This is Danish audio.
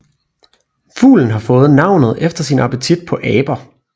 Fuglen har fået navnet efter sin appetit på aber